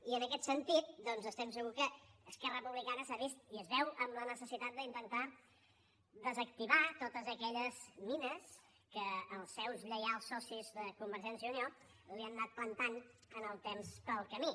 i en aquest sentit doncs estem segurs que esquerra republicana s’ha vist i es veu en la necessitat d’intentar desactivar totes aquelles mines que els seus lleials socis de convergència i unió li han anat plantant en el temps pel camí